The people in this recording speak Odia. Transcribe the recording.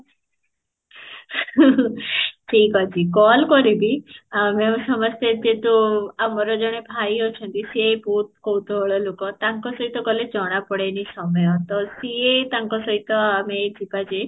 ଠିକ ଅଛି call କରିବି ଆମେ ଆମେ ସମସ୍ତେ ଯେହେତୁ ଆମର ଜଣେ ଭାଇ ଅଛନ୍ତି ସେ ବହୁତ କୌତୁହଳ ଲୋକ ତାଙ୍କ ସହିତ ଗଲେ ଜଣା ପଡ଼େନି ସମୟ ତ ସିଏ ତାଙ୍କ ସହିତ ଆମେ ଯିବା ଯେ